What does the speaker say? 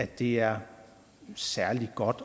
det er særlig godt